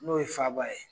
N'o ye faba ye